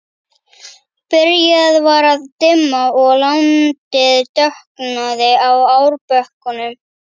Byrjað var að dimma og landið dökknaði á árbökkunum.